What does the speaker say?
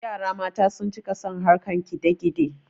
yara mata sun cika son harkan kidakide